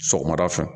Sɔgɔmada fɛ